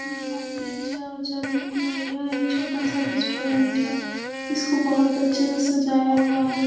यहाँ पिज़्ज़ा वीजा मिल रहा है यहाँ एक छोटा सा रेस्टुरेंट है इसको बहुत अच्छे से सजाया हुआ है।